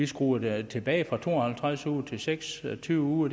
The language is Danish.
skrue det tilbage fra to og halvtreds uger til seks og tyve uger